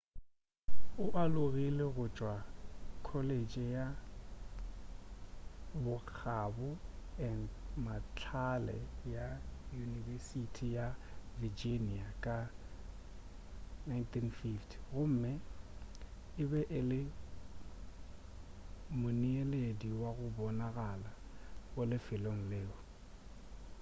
o alogile go tšwa go colleje ya bokgabo & mahlale ya yunibesiti ya virginia ka 1950 gomme e be e le moneeledi wo go bonagala go lefelo leo